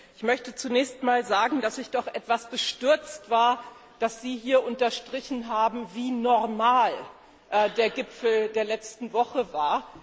Ich möchte zunächst einmal sagen, dass ich doch etwas bestürzt war, dass Sie hier unterstrichen haben, wie normal der Gipfel der letzten Woche war.